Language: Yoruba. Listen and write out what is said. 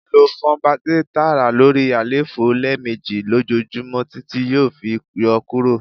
lo Funbact-A taara lori àléfọ lẹmeji lojoojumọ titi yoo fi yọ kuro